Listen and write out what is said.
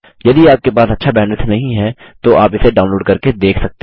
यदि आपके पास अच्छा बैंडविड्थ नहीं है तो आप इसे डाउनलोड करके देख सकते हैं